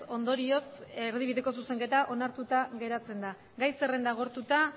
ondorioz erdibideko zuzenketa onartuta geratzen da gai zerrenda agortuta